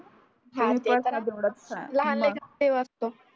लहान लेकरात देव असत